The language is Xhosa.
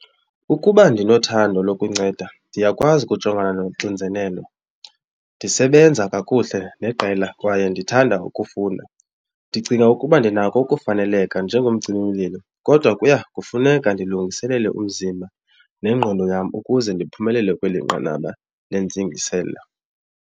Ukuba ndinothando lokunceda ndiyakwazi ukujongana nonxinzelelo, ndisebenza kakuhle neqela kwaye ndithanda ukufunda. Ndicinga ukuba ndinako ukufaneleka njengomcimimlilo kodwa kuya kufuneka ndilungiselele umzimba nengqondo yam ukuze ndiphumelele kweli nqanaba lentsingiselo.